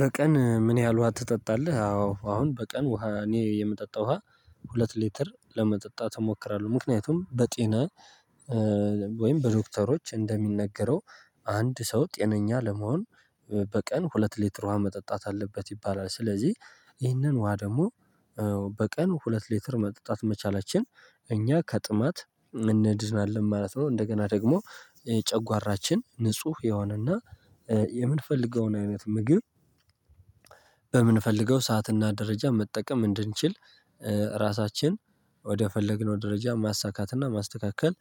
በቀን ምን ያህል ውሃ ትጠጣለህ? አዎ አሁን በቀን ውሃ እኔ የምጠጣው ውሃ ሁለት ሊትር ለመጠጣት እሞክራለሁ። ምክንያቱም በጤና ወይም በዶክተሮች እንደሚነገረው አንድ ሰው ጤነኛ ለመሆን በቀን ሁለት ሊትር ውሃ መጠጣት አለበት ይባላል። ስለዚህ ይህንን ውሃ ደግሞ በቀን ሁለት ሌትር መጠጣት መቻላችን እኛ ከጥማት እንድናለን ማለት ነው። እንደገና ደግሞ ጨጓራችን ንጹህ የሆነና የምንፈልገውን አይነት ምግብ በምንፈልገው ሰዓትና ደረጃ መጠቀም እንድንችል ራሳችን ወደ ፈለግነው ደረጃ ማሳካትና ማስተካከል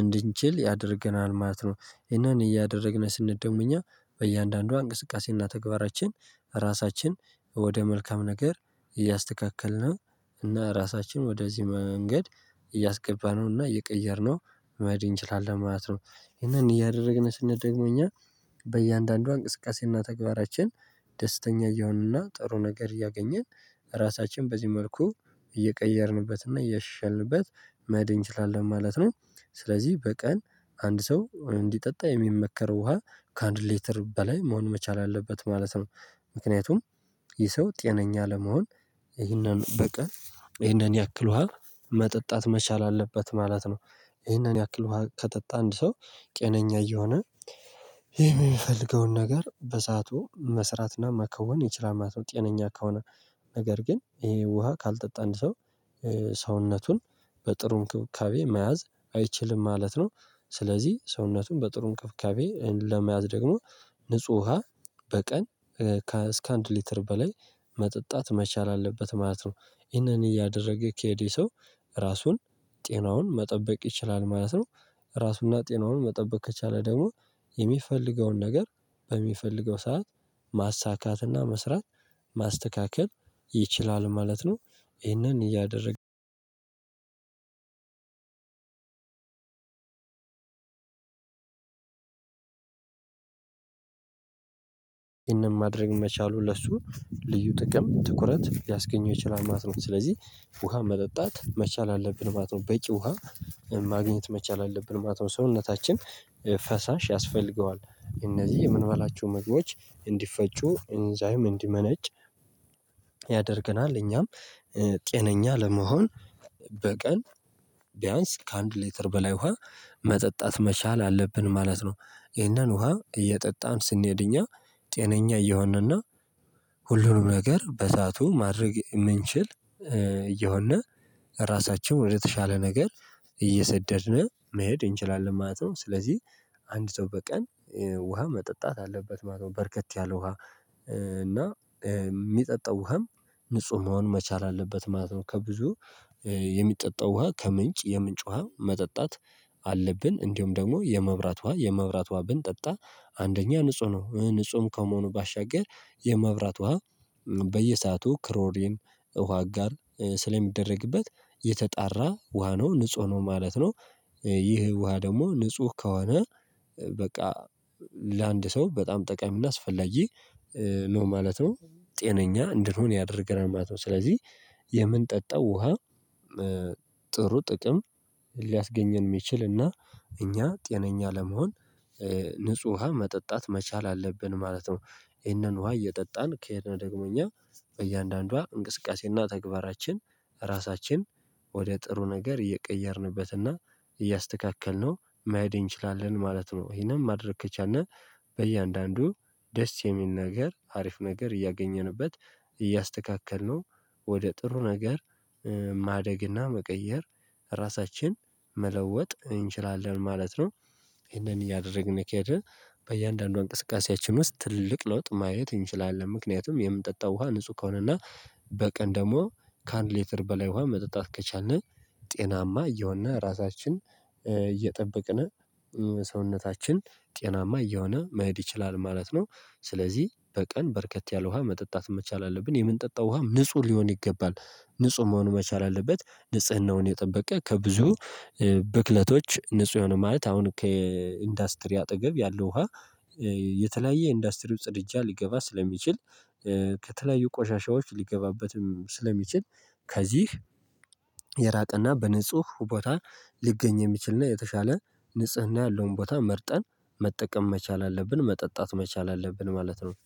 እንድንችል ያደርገናል ማለት ነው። ይህንን እያደረግን ስንሄድ ደግሞ እኛ በእያንዳንዱ እንቅስቃሴና ተግባራችን ራሳችን ወደ መልካም ነገር እያስተካከልነ እና ራሳችን ወደዚህ መንገድ እያስገባነው እና እየቀየርነው መሄድ እንችላለን ማለት ነው። ይሄንን እያደረግን ስንሄድ ደግሞ እኛ በእያንዳንዷ እንቅስቃሴና ተግባራችን ደስተኛ እያሆንንና ጥሩ ነገር እያገኘን ራሳችን በዚህ መልኩ እየቀየርንበትና እያሻሻልንበት መሄድ እንችላለን ማለት ነው። ስለዚህ በቀን አንድ ሰው እንዲጠጣ የሚመከረው ውሃ ካአንድ ሊተር በላይ መሆን መቻል አለበት ማለት ነው። ምክንያቱም ይህ ሰው ጤነኛ ለመሆን ይህንን በቀን ይህንን ያክል ውሃ መጠጣት መቻል አለበት ማለት ነው። ይህንን ያክል ውሃ ከጠጣ አንድ ሰው ጤነኛ እየሆነ የሚፈልገውን ነገር በሰአቱ መስራትና መከውን ይችላል ማለት ነው። ጤነኛ ከሆነ ነገር ግን ይሄ ውሃ ካልጠጣ አንድ ሰው ሰውነቱን በጥሩ እንክብካቤ መያዝ አይችልም ማለት ነው። ስለዚህ ሰውነቱን በጥሩ እንክብካቤ ለመያዝ ደግሞ ንጹህ ውሃ በቀን እስከ አንድ ሊትር በላይ መጠጣት መቻል አለበት ማለት ነው። ይህንን እያደረገ ከሄዴይህ ሰው ራሱን ጤናውን መጠበቅ ይችላል ማለት ነው። ራሱና ጤናውን መጠበቅ ከቻለ ደግሞ የሚፈልገውን ነገር በሚፈልገው ሰዓት ማሳካትና መስራት ማስተካከል ይችላል ማለት ነው። ይህንን እያደረገ ይህንን ማድረግ መቻሉ ለሱ ልዩ ጥቅም ትኩረት ሊያስገኘው ይችላል ማለት ነው። ስለዚህ ውሃ መጠጣት መቻል አለብን ማለት ነው። በቂ ውሃ ማግኘት መቻል አለብን ማለት ነው። ሰውነታችን ፈሳሽ ያስፈልገዋል እነዚህ የምንበላቸው ምግቦች እንዲፈጩ ኢንዛይም እንዲመነጭ ያደርገናል። እኛም ጤነኛ ለመሆን በቀን ቢያንስ ከአንድ ሌተር በላይ ውሃ መጠጣት መቻል አለብን ማለት ነው። ይህንን ውሃ እየጠጣን ስንሄድ እኛ ጤነኛ እየሆን እና ሁሉንም ነገር በሰአቱ ማድረግ እምንችል እየሆን ራሳችን ወደተሻለ ነገር እየሰደድን መሄድ እንችላለን ማለት ነው። ስለዚህ አንድ ሰው በቀን ውሃ መጠጣት አለበት ማለት ነው። በርከት ያለ ውሃ እና እሚጠጣው ውሃም ንጹህ መሆን መቻል አለበት ማለት ነው። ከብዙ የሚጠጣው ውሃ ከምንጭ የምንጭ ውሃ መጠጣት አለብን እንዲሁም ደግሞ የመብራት ውሃ የመብራት ውሃ ብንጠጣ አንደኛ ንጹህ ነው ንጹህ ከመሆኑ ባሻገር የመብራት ውሃ በየሰአቱ ክሮሪን ውሃ አጋር ስለሚደረግበት የተጣራ ውሃ ነው ንጹህ ነው ማለት ነው። ይህ ውሃ ደግሞ ንጹህ ከሆነ በቃ ለአንድ ሰው በጣም ጠቃሚና አስፈላጊ ነው ማለት ነው። ጤነኛ እንድንሆን ያደርገናል ማለት ነው። ስለዚህ የምንጠጣው ውሃ ጥሩ ጥቅም ሊያስገኘን እሚችል እና እኛ ጤነኛ ለመሆን ንጹህ ውሃ መጠጣት መቻል አለብን ማለት ነው። ይህንን ውሃ እየጠጣን ከሄድን ደግሞ እኛ በእያንዳንዷ እንቅስቃሴና ተግባራችን ራሳችን ወደ ጥሩ ነገር እየቀየርንበትና እያስተካከልነው መሄድ እንችላለን ማለት ነው። ይሄንን ማድረግ ከቻልን በእያንዳንዱ ደስ የሚል ነገር አሪፍ ነገር እያገኘንበት እያስተካከልነው ወደ ጥሩ ነገር ማደግና መቀየር ራሳችን መለወጥ እንችላለን ማለት ነው። ይህንን እያደረግን ከሄድን በእያንዳንዷ እንቅስቃሴያችን ውስጥ ትልቅ ለውጥ ማየት እንችላለን ምክንያቱም የምንጠጣው ውሃ ንጹህ ከሆነና በቀን ደግሞ ካአንድ ሌትር በላይ ውሃ መጠጣት ከቻልን ጤናማ እየሆን ራሳችን እየጠበቅን ሰውነታችን ጤናማ እየሆነ መሄድ ይችላል ማለት ነው። ስለዚህ በቀን በርከት ያለ ውሃ መጠጣት መቻል አለብን የምንጠጣው ውሃም ንጹህ ሊሆን ይገባል። ንጹህ መሆኑ መቻል አለበት ንጽህናውን የጠበቀ ከብዙ ብክለቶች ንጹህ የሆኑ ማለት አሁን ከኢንዱስትሪ አጠገብ ያለው ውሃ የተለያየ ኢንዱስትሪው ጽድጃ ሊገባ ስለሚችል ከተለያዩ ቆሻሻዎች ሊገባበትም ስለሚችል ከዚህ የራቀና በንጹህ ቦታ ሊገኝ የሚችልና የተሻለ ንጽህና ያለውን ቦታ መርጠን መጠቀም መቻል አለብን መጠጣት መቻል አለብን ማለት ነው።